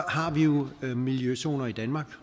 har vi jo miljøzoner i danmark